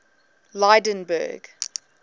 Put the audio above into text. lydenburg